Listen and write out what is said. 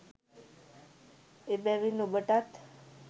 එබැවින් ඔබටත්